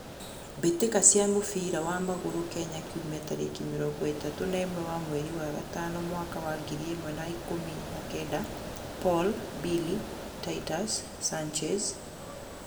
Mbitika cia mũbira wa magũrũ Kenya kiumia tarĩki mĩrongoĩtato na ĩmwe wa mweri wa gatano mwaka wa ngiri ĩmwe wa ikũmi na kenda: Paul, Billy, Titus, Sanchez,